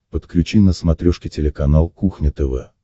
подключи на смотрешке телеканал кухня тв